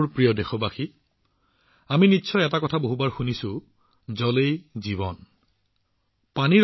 মোৰ মৰমৰ দেশবাসীসকল আমি সকলোৱে নিশ্চয় বহুবাৰ এটা কথা শুনিছো নিশ্চয় বাৰে বাৰে শুনিছো যে পানী অবিহনে কোনো কাম নহয়